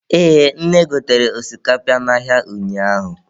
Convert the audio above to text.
Ee, nne gotere osikapa n'ahịa ụnyaahụ.